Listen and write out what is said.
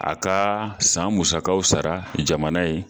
A ka san musakaw sara jamana ye.